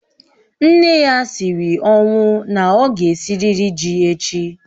Nne ya siri ọnwụ na ọ ga-esirịrị ji echi